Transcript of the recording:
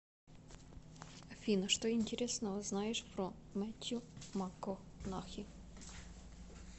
афина что интересного знаешь про метью макконахи